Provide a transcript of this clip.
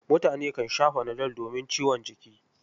Mutane kan sha fanadol domin ciwon jiki.